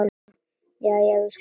Jæja, við skulum reyna aftur.